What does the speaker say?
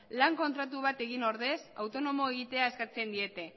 lan kontratu bat egin ordez autonomo egitea eskatzen diete